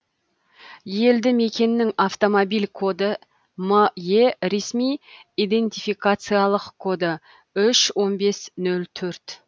елді мекеннің автомобиль коды ме ресми идентификациялық коды үш он бес нөл төрт